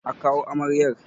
A kawo amaryar!